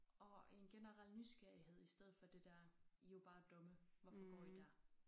Og en generel nysgerrighed i stedet for det der I jo bare dumme hvorfor går I der